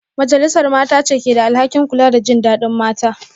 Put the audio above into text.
Majalisar Mata ce ke da alhakin kula da jin dadin mata